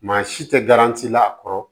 Maa si tɛ garan ci la a kɔrɔ